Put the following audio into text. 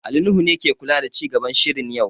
Ali Nuhu ke kula da ci gaban shirin yau